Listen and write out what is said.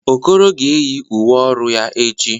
Okoro ga-eyi uwe ọrụ ya echi.